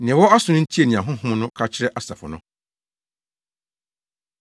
Nea ɔwɔ aso no ntie nea Honhom no ka kyerɛ asafo no.